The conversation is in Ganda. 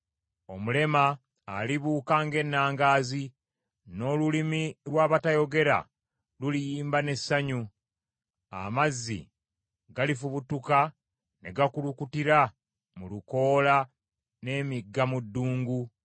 omulema alibuuka ng’ennangaazi, n’olulimi lw’abatayogera luliyimba n’essanyu. Amazzi galifubutuka ne gakulukutira mu lukoola n’emigga mu ddungu.